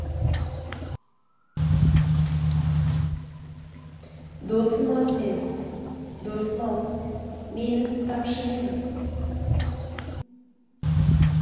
досым аз менің досым ау менің тапшы емін